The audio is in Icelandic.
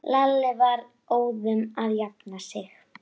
GVENDUR: Skúli er búinn að vera.